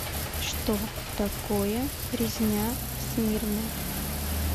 что такое резня в смирне